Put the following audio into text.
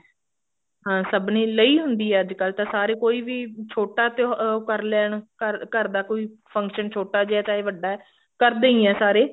ਹਾਂ ਸਭ ਨੇ ਲਈ ਹੁੰਦੀ ਹੈ ਅੱਜਕਲ ਤਾਂ ਸਾਰੇ ਕੋਈ ਵੀ ਛੋਟਾ ਤਿਓ ਉਹ ਉਹ ਕਰ ਲੈਣ ਘਰ ਘਰ ਦਾ ਕੋਈ function ਛੋਟਾ ਜਿਹਾ ਚਾਹੇ ਵੱਡਾ ਕਰਦੇ ਈ ਐ ਸਾਰੇ